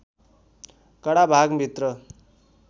कडा भाग भित्र